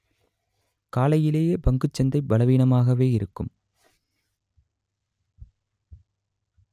காலையிலேயே பங்கச் சந்தை பலவீனமாகவே இருக்கும்